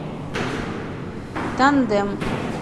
тандем